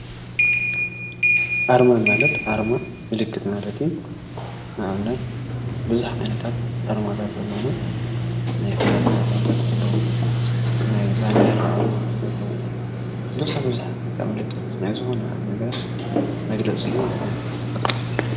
ኣርማ ማለት ኣርማ ምልክት ማለት እዩ። ንኣብነት ቡዝሕ ዓይነታት ኣርማታት ኣለውና። ናይ ክዳን ኣርማታት ኣለው፣ ናይ ባንዴራ ኣርማታት ኣለዉ ቡዝሕ ቡዝሕ ንጥቀመሉ ናይ ዘበናት ነጋሽ መግለፂ እዩ ማለት?